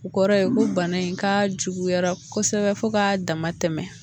O kɔrɔ ye ko bana in k'a juguyara kosɛbɛ fo ka damatɛmɛ